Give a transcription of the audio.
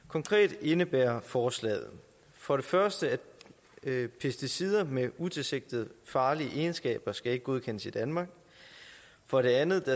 konkret indebærer forslaget for det første at pesticider med utilsigtet farlige egenskaber ikke skal godkendes i danmark for det andet